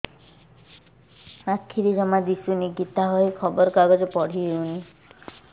ଆଖିରେ ଜମା ଦୁଶୁନି ଗୀତା ବହି ଖବର କାଗଜ ପଢି ହଉନି